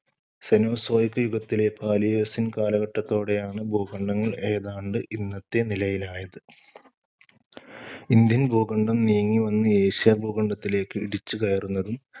യുഗത്തിലെ Paleocene കാലഘട്ടത്തോടെയാണ് ഭൂഖണ്ഡങ്ങൾ ഏതാണ്ട് ഇന്നത്തെ നിലയിലായത്. ഇന്ത്യൻ ഭൂഖണ്ഡം നീങ്ങി വന്ന് ഏഷ്യാ ഭൂഖണ്ഡത്തിലേക്ക് ഇടിച്ചു കയറുന്നതും